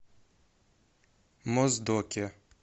моздоке